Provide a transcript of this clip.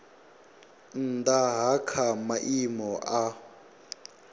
nnda ha kha maimo a